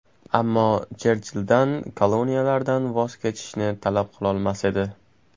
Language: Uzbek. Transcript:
Ammo Cherchilldan koloniyalardan voz kechishni talab qilolmas edi.